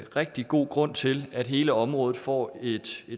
rigtig god grund til at hele området får et